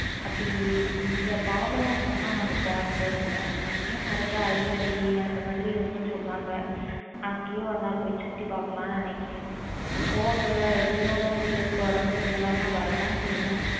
அப்பிடி இந்த பாபநாசம் லாம் நாங்க போனதே இல்ல அங்கேயும் நிறைய ஐந்தருவி அப்பிடி எல்லாம் இருக்கும் சொல்லுவாங்க அங்கேயும் ஒரு நாள் பொய் சுத்தி பாக்கலாம் நெனைக்குறான்